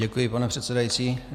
Děkuji, pane předsedající.